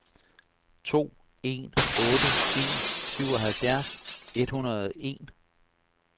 to en otte en syvoghalvfjerds et hundrede og en